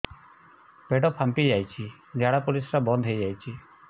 ପେଟ ଫାମ୍ପି ଯାଇଛି ଝାଡ଼ା ପରିସ୍ରା ବନ୍ଦ ହେଇଯାଇଛି